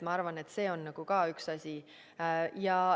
Ma arvan, et see on ka üks asi.